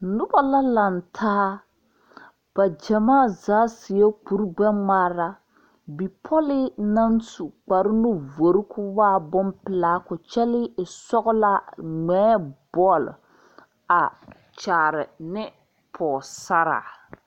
Nobɔ la laŋtaa ba gyamaa zaa seɛ kuri gbɛngmaara bipɔlii naŋ su kpare nu vore koo waa bonpelaa koo kyɛlee e sɔglaa ngmɛɛ bɔle a kyaare ne pɔɔsaraa.